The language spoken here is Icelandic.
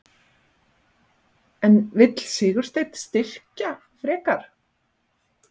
En vill Sigursteinn styrkja frekar?